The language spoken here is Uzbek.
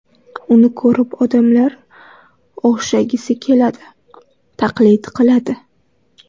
Uni ko‘rib odamlar o‘xshagisi keladi, taqlid qiladi.